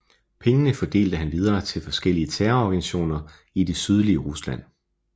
Pengene fordelte han videre til forskellige terrororganisationer i det sydlige Rusland